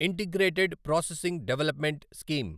integrated processing development scheme